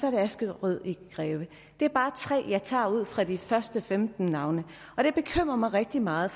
er askerød i greve det er bare tre jeg tager ud fra de første femten navne det bekymrer mig rigtig meget